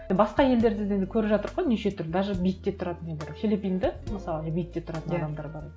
е басқа елдерде де енді көріп жатырмыз ғой неше түрлі даже бейітте тұратын үйлері филлипинде мысалы бейітте тұратын адамдар бар